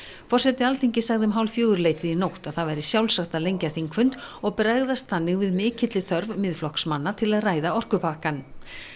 forseti Alþingis sagði um hálffjögurleytið í nótt að það væri sjálfsagt að lengja þingfund og bregðast þannig við mikilli þörf Miðflokksmanna til að ræða orkupakkann